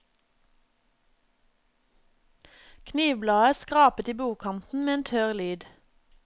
Knivbladet skrapet i bordkanten med en tørr lyd.